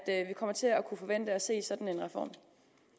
er vi kommer til at kunne forvente at se